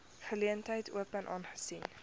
geleentheid open aangesien